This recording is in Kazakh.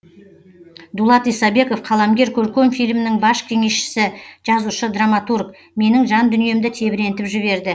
дулат исабеков қаламгер көркем фильмінің бас кеңесшісі жазушы драматург менің жандүниемді тебірентіп жіберді